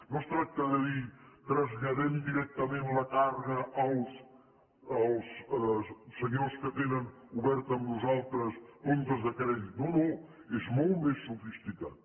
no es tracta de dir traslladem directament la càrrega als senyors que tenen oberts amb nosaltres comptes de crèdit no no és molt més sofisticat